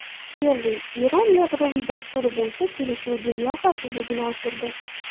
Kerri: Eron yadroviy dasturi bo‘yicha kelishuv dunyo xavfsizligini oshirdi.